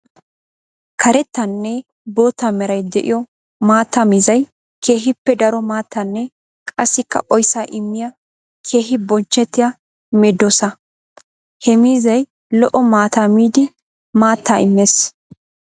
Karettanne bootta meray de'iyo maatta miizzay keehippe daro maattaanne qassikka oyssa immiya keehi bonchchettiya medossa. Ha miizzay lo'o maataa miidi maatta imees.